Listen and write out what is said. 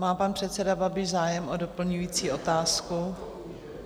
Má pan předseda Babiš zájem o doplňující otázku?